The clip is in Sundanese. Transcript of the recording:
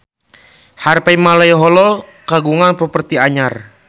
Harvey Malaiholo kagungan properti anyar